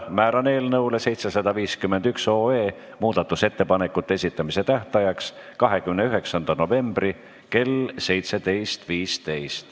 Määran eelnõu 751 muudatusettepanekute esitamise tähtajaks 29. novembri kell 17.15.